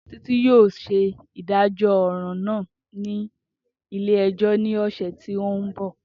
Titi yoo ṣe idajọ ọran naa ni ile-ẹjọ ni ọsẹ ti n bọ.